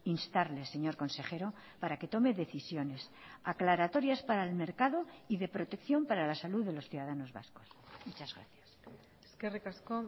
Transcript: instarle señor consejero para que tome decisiones aclaratorias para el mercado y de protección para la salud de los ciudadanos vascos muchas gracias eskerrik asko